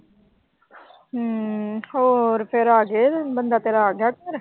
ਹੂੰ ਹੋਰ ਫਿਰ ਆ ਗਏ। ਬੰਦਾ ਤੇਰਾ ਆ ਗਿਆ ਘਰ।